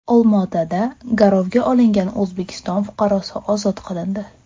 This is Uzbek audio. Olmaotada garovga olingan O‘zbekiston fuqarosi ozod qilindi.